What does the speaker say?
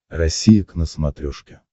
россия к на смотрешке